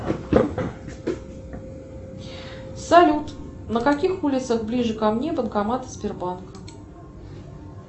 салют на каких улицах ближе ко мне банкоматы сбербанка